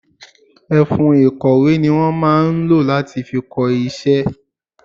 Ẹfun ìkọ̀wé ni wọn máa ń lo fi kọ iṣẹ́.